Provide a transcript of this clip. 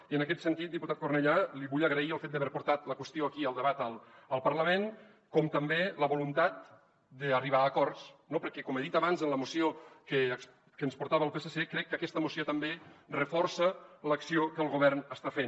i en aquest sentit diputat cornellà li vull agrair el fet d’haver portat la qüestió aquí a debat al parlament com també la voluntat d’arribar a acords no perquè com he dit abans en la moció que ens portava el psc crec que aquesta moció també reforça l’acció que el govern està fent